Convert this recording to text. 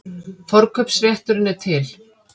Forkaupsrétturinn er til.